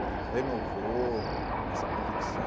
Me renovou essa convicção.